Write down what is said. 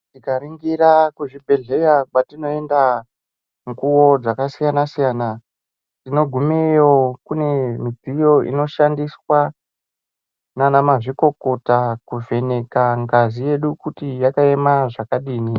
Tikaringira kuzvibhehleya kwatinoenda mukuwo dzakasiyana-siyana tinogumeyo kune midziyo inoshandiswa nana mazvikokota kuvheneka ngazi yedu kuti yakaema zvakadini.